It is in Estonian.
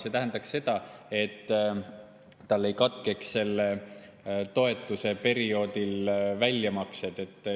See tähendaks seda, et tal ei katkeks selle toetuse saamise perioodil väljamaksed.